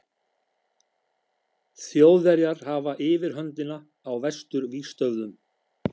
Þjóðverjar hafa yfirhöndina á vesturvígstöðvum.